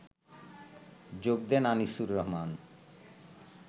যোগ দেন আনিসুর রহমান